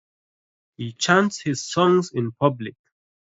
He chants his songs in public.